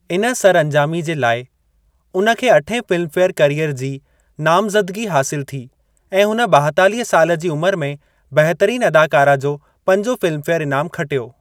इन सरअंजामी जे लाइ, हुन खे अठें फ़िल्मफे़यर करियर जी नामज़दिगी हासिल थी ऐं हुन ॿाएतालीह साल जी उमिरि में बहितरीन अदाकारा जो पंजों फ़िल्मफे़यर ईनामु खटियो।